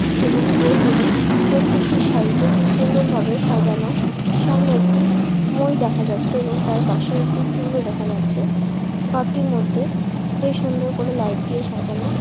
এবং বইগুলি প্রত্যেকটি সাড়িতে খুব সুন্দর ভাবে সাজানো সামনে একটি বই দেখা যাচ্ছে এবং তার পাশে একটি টুকরো দেখা যাচ্ছে। ঘরটির মধ্যে বেশ সুন্দর করে লাইট দিয়ে সাজানো ।